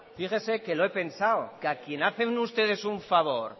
fíjese que lo he pensado que a quien hacen ustedes un favor